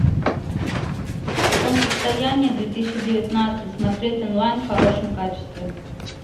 солнцестояние две тысячи девятнадцать смотреть онлайн в хорошем качестве